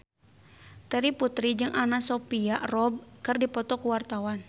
Terry Putri jeung Anna Sophia Robb keur dipoto ku wartawan